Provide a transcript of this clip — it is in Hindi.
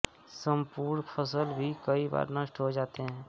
सम्पूर्ण फसल भी कई बार नष्ट हो जाती है